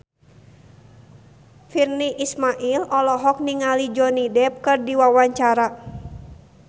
Virnie Ismail olohok ningali Johnny Depp keur diwawancara